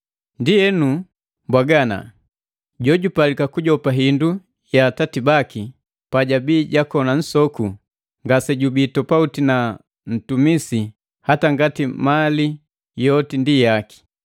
Ndienu, mbwaga ana; Jojupalika kujopa hindu ya atati baki, pajabii jakoni nsoku, ngasejubii topauti nu ntumisi ingawa na mali yote ndi jaki.